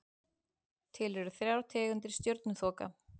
Til eru þrjár tegundir stjörnuþoka.